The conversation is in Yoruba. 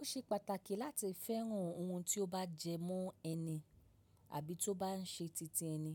Ó ṣe pàtàkì láti fẹ́ràn ohun tí ó bá jẹ mọ ẹni àbí tó bá ń ṣe titi ẹni.